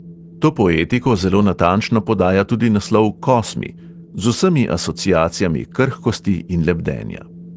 To poetiko zelo natančno podaja tudi naslov kosmi – z vsemi asociacijami krhkosti in lebdenja.